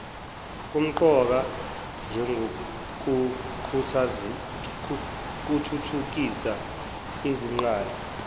kumqoka njengokuthuthukisa izingqala